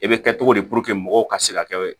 E bɛ kɛ cogo di mɔgɔw ka se ka kɛ